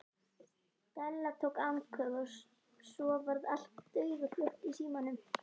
Stella tók andköf og svo varð allt dauðahljótt í símanum.